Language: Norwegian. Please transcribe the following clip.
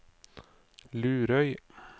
Lurøy